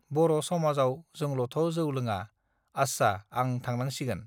बर समाजाव जोंलथ जौ लोङा आस्सा आं थांनांसिगोन